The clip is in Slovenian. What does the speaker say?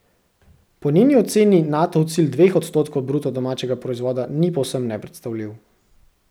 Po njeni oceni Natov cilj dveh odstotkov bruto domačega proizvoda ni povsem nepredstavljiv.